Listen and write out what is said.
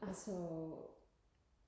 altså